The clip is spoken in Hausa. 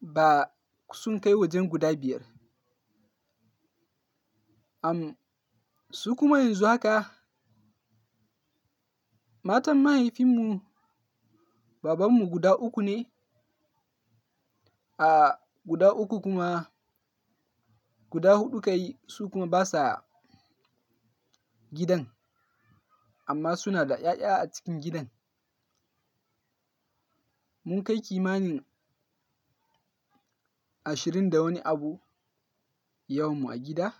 ba sun kai wajen guda biyar. Amm su kuma yanzu haka matan mahaifinmu, babanmu guda uku ne. A guda uku kuma guda huɗu ka yi, su kuma basa gidan amma suna da ƴaƴa a cikin gidan. Mun kai kimanin ashirin da wani abu yawanmu a gida.